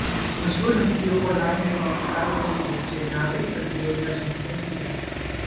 मशहूर हस्तियों और राजनेताओं ने सार्वजनिक रूप से नागरिक प्रतिरोध का समर्थन किया है